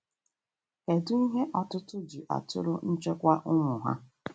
kedụ ihe ọtụtụ ji atụrụ nchekwa ụmụ ha?